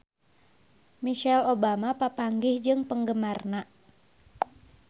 Michelle Obama papanggih jeung penggemarna